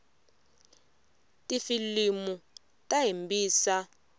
tifilimu ta hembisa